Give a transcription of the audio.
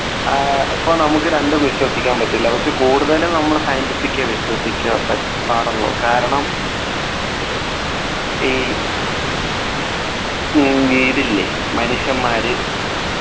ആഹ് അപ്പോൾ നമുക്ക് രണ്ടും വിശ്വസിക്കാൻ പറ്റില്ല പക്ഷേ കൂടുതൽ നമ്മൾ Scientific എ വിശ്വസിക്കാൻ പറ്റ് പാടുള്ളൂ കാരണം ഈ ഇല്ലേ മനുഷ്യന്മാര്